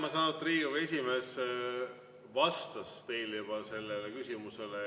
Ma saan aru, et Riigikogu esimees juba vastas teile sellele küsimusele.